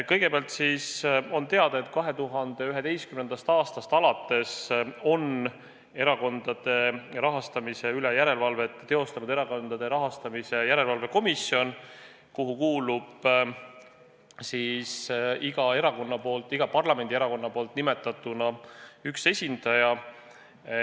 Kõigepealt siis, nagu teada, 2011. aastast alates on erakondade rahastamise üle järelevalvet teostanud Erakondade Rahastamise Järelevalve Komisjon, kuhu kuulub iga parlamendierakonna nimetatuna üks esindaja.